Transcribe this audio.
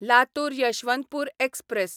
Latur Yeshwantpur express